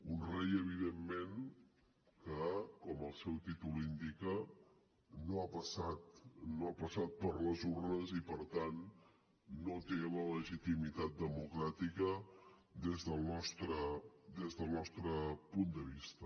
un rei evidentment que com el seu títol indica no ha passat per les urnes i per tant no té la legitimitat democràtica des del nostre punt de vista